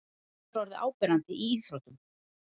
Þetta er orðið áberandi í íþróttum.